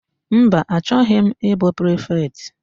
Mba, achọghị m ịbụ prifetị.